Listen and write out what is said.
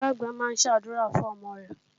Ìyá-àgbà náà ń ṣàdúrà fún ọmọ rẹ̀.